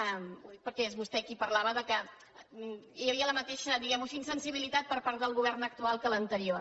ho dic perquè és vostè qui parlava que hi havia la mateixa diguem ho així insensibilitat per part del govern actual que de l’anterior